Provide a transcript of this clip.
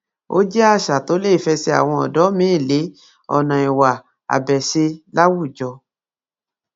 ó jẹ àṣà tó lè fẹsẹ àwọn ọdọ míín lé ọnà ìwà abèṣe láwùjọ